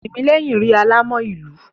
Tìmíní rí alámọ̀ ìlú.